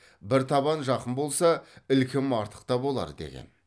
бір табан жақын болса ілкім артық та болар деген